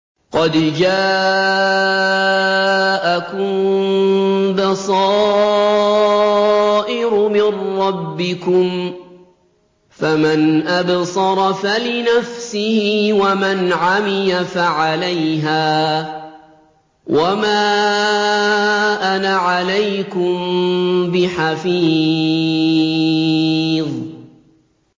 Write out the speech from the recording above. قَدْ جَاءَكُم بَصَائِرُ مِن رَّبِّكُمْ ۖ فَمَنْ أَبْصَرَ فَلِنَفْسِهِ ۖ وَمَنْ عَمِيَ فَعَلَيْهَا ۚ وَمَا أَنَا عَلَيْكُم بِحَفِيظٍ